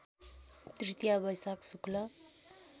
तृतीया वैशाख शुक्ल